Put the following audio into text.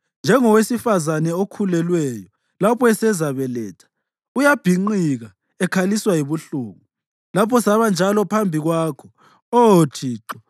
Njengowesifazane okhulelweyo lapho esezabeletha uyabhinqika ekhaliswa yibuhlungu, lathi sabanjalo phambi kwakho, Oh Thixo.